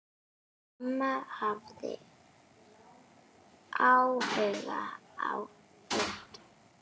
Amma hafði áhuga á fötum.